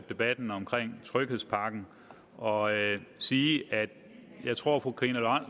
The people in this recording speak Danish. debatten om tryghedspakken og sige at jeg tror fru karina